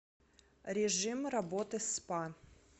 режим работы спа